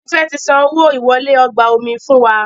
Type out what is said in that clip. Tife ti san owo ìwọlé ọgbà omi fún wá